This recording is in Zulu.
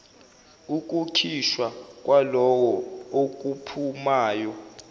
ukukhishwa kwalokho okuphumayo